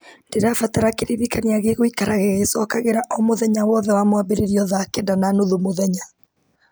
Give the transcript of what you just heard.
ndĩrabatara kĩririkania gĩgũikara gĩgĩcokagĩra o mũthenya wothe wa mwambĩrĩrio thaa kenda na nuthu mũthenya